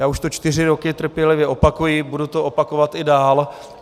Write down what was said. Já už to čtyři roky trpělivě opakuji, budu to opakovat i dál.